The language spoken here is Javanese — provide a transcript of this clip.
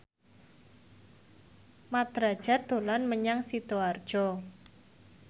Mat Drajat dolan menyang Sidoarjo